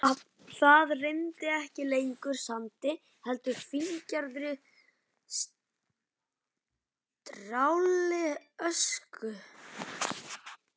Það rigndi ekki lengur sandi heldur fíngerðri strjálli ösku.